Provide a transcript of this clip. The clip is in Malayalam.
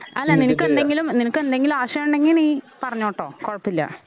അല്ല നിനക്കെന്തെങ്കിലും നിനക്കെന്തെങ്കിലും ആശയം ഉണ്ടെങ്കി നീ പറഞ്ഞോട്ടോ കൊഴപ്പഇല്ല